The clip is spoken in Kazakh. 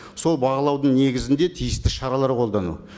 сол бағалаудың негізінде тиісті шаралар қолдану